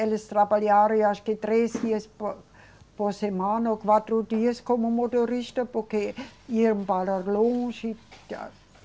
Eles trabalharam eu acho que três dias por, por semana ou quatro dias como motorista, porque iam para longe da.